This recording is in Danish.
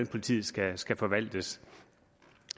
politiet skal skal forvaltes